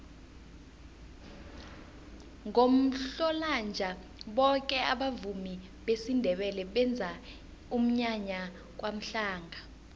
ngomhlolanja boke abavumi besindebele benza umnyanya kwamhlanga